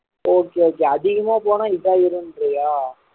okay okay அதிகமா போனா இதான் ஏறும்ன்றயா